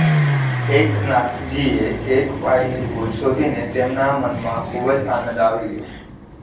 એકનાથજીએ એક પાઇની ભૂલ શોધી ને તેમના મનમાં ખૂબ જ આનંદ આવી ગયો